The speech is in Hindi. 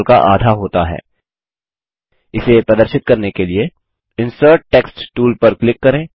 area of the rhombus 12 product of diagonals इसे प्रदर्शित करने के लिए इंसर्ट टेक्स्ट टूल पर क्लिक करें